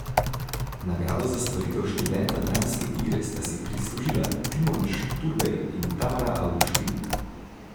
Nagrado za stvaritev študenta dramske igre sta si prislužila Timon Šturbej in Tamara Avguštin.